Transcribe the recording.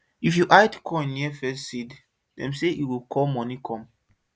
if you hide coin near first seed dem say e go call money come